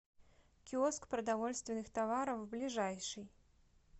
киоск продовольственных товаров ближайший